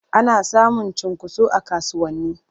Ana samun cunkoso a kasuwanni.